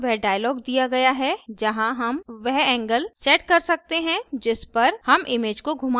और यहाँ वह dialog दिया गया है जहाँ हम वह angle angle set कर सकते हैं जिस पर हम image को घुमाना चाहते हैं